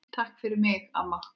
Takk fyrir mig amma.